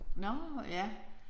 Nåh ja